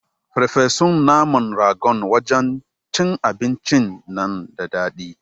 Ferfesun naman ragon wajan cin abincin nan da daɗi